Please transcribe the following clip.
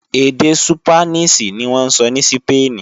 Èdè Súpánìṣì ní wọ́n ń sọ ní Sípéènì